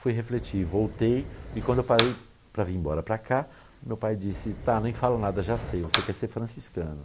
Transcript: Fui refletir, voltei e quando eu parei para vir embora para cá, meu pai disse, tá, nem falo nada, já sei, você quer ser franciscano.